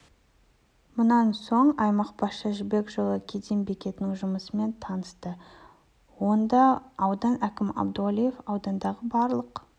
мұнан соң аймақ басшысы жібек жолы кеден бекетінің жұмысымен танысты онда аудан әкімі әбдуәлиев аудандағы барлық